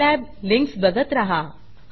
Scilab links बघत रहा